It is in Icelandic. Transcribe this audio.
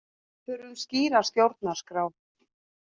Þurfum skýra stjórnarskrá